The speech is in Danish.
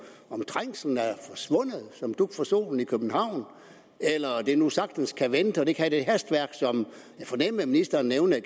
trængslen er forsvundet som dug for solen eller om det nu sagtens kan vente og ikke har det hastværk som jeg fornemmede at ministeren nævnte